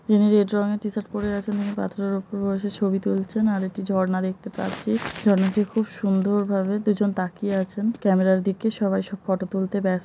যিনি রেড রঙের টি শার্ট পরে আছে তিনি পাথরের উপরে বসে ছবি তুলছেন আর একটি ঝর্ণা দেখতে পাচ্ছি। ঝর্ণাটি খুব সুন্দর ভাবে দুজন তাকিয়ে আছেন ক্যামেরার দিকে সবাই সব ফটো তুলতে ব্যস্--